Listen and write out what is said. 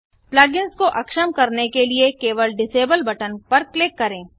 plug इन्स को अक्षम करने के लिए केवल डिसेबल बटन पर क्लिक करें